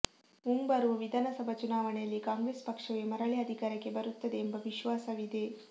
ಮುಂಬರುವ ವಿಧಾನಸಭಾ ಚುನಾವಣೆಯಲ್ಲಿ ಕಾಂಗ್ರೆಸ್ ಪಕ್ಷವೇ ಮರಳಿ ಅಧಿಕಾರಕ್ಕೆ ಬರುತ್ತದೆ ಎಂಬ ವಿಶ್ವಾಸವಿದೆ